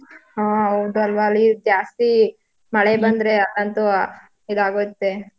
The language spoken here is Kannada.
ಹಾ ಹೌದಲ್ವಾ ಅಲ್ಲಿ ಜಾಸ್ತಿ ಮಳೆ ಬಂದ್ರೆ ಅಂತೂ ಅ~ ಇದಾಗುತ್ತೆ.